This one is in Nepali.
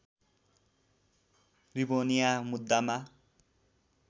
रिभोनिया मुद्दामा